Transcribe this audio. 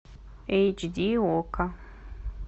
эйч ди окко